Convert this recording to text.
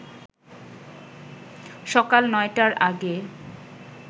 সকাল ৯টার আগে